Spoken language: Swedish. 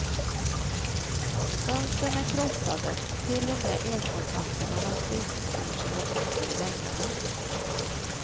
Fönstren är krossade och till och med elkontakterna har slitits ur sina dosor i väggarna.